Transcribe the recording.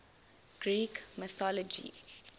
greek mythology